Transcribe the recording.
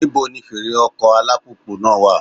Níbo ni fèrè ọkọ̀ alùpùpù náà wà?